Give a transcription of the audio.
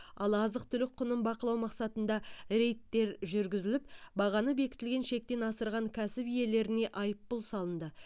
ал азық түлік құнын бақылау мақсатында рейдтер жүргізіліп бағаны бекітілген шектен асырған кәсіп иелеріне айыппұл салынды